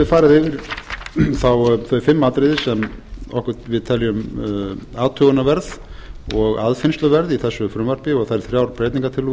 við farið yfir þau fimm atriði sem við teljum athugunarverð og aðfinnsluverð í þessu frumvarpi og þær þrjár breytingartillögur þrjár og